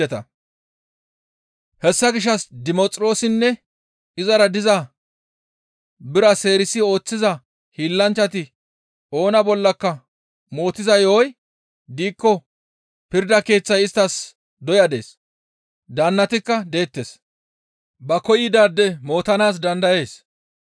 «Hessa gishshas Dimoxiroossinne izara diza bira seerisi ooththiza hiillanchchati oona bollaka mootiza yo7oy diikko pirda keeththay isttas doya dees; daannatikka deettes; ba koyidaade mootanaas dandayees.